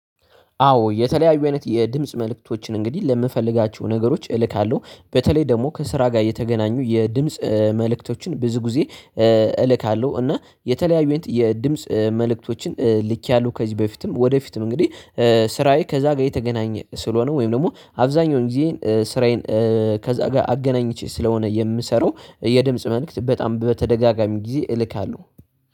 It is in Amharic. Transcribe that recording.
አዎ የተለያዩ አይነት የድምጽ መልእክቶችን እንግዲህ ለምፈልጋቸው ነገሮች እልካለሁ በተለይ ደግሞ ከስራ ጋር የተገናኙ የድምጽ መልእክቶችን ብዙ ጊዜ እልካለሁ። እና የተለያዩን የድምጽ መልእክቶችን ልኬያለሁ ከዚህ በፊትም ወደፊትም እንግዲህ። ስራዬ ከዛ ጋር የተገናኘ ስለሆነ ወይም ደግሞ አብዛኛውን ጊዜ ስራዬን ከዛ ጋር አገናኝቼ ስለሆነ የምሰራው። የድምጽ መልእክት በጣም በተደጋጋሚ ጊዜ እልካለሁ